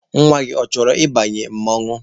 Nwa gị, ọ chọrọ ị ba mmanwụ?